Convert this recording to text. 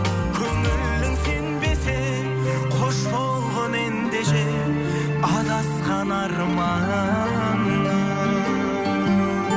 көңілің сенбесе қош болғың ендеше адасқан арманым